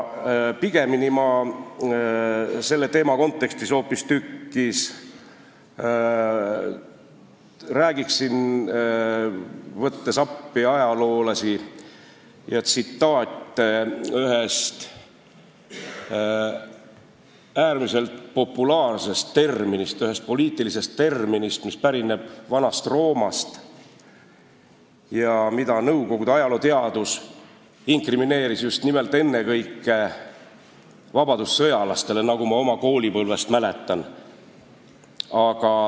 Pigemini ma räägiksin selle teema kontekstis hoopistükkis, võttes appi ajaloolasi ja tsitaate, ühest ääretult populaarsest poliitilisest terminist, mis pärineb Vana-Roomast ja mida Nõukogude ajalooteadus inkrimineeris ennekõike vabadussõjalastele, nagu ma oma koolipõlvest mäletan.